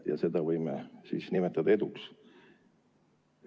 Kas seda võime nimetada eduks?